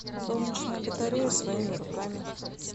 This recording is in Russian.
солнечная батарея своими руками